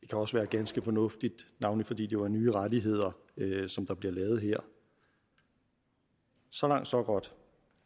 kan også være ganske fornuftigt navnlig fordi jo er nye rettigheder der bliver lavet her så langt så godt